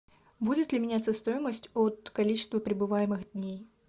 будет ли меняться стоимость от количества пребываемых дней